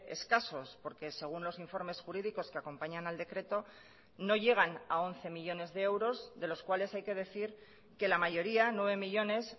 escasos porque según los informes jurídicos que acompañan al decreto no llegan a once millónes de euros de los cuales hay que decir que la mayoría nueve millónes